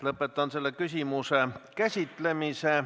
Lõpetan selle küsimuse käsitlemise.